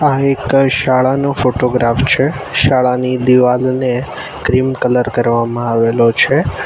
આ એક શાળાનો ફોટોગ્રાફ છે શાળાની દિવાલને ક્રીમ કલર કરવામાં આવેલો છે.